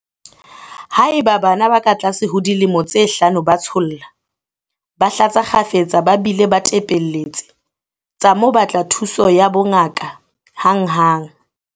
Haeba bana ba katlase ho dilemo tse hlano ba tsholla, ba hlatsa kgafetsa ba bile ba tepelletse, tsa mo batla thuso ya bongaka hanghang.